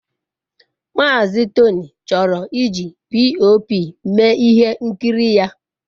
Mazị Tony chọrọ iji POP mee ihe nkiri ya.